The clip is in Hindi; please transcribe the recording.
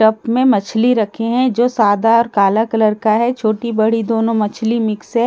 टब में मछली रखी हैं जो सादा और काला कलर का है छोटी बड़ी दोनों मछली मिक्स हैं नीचे--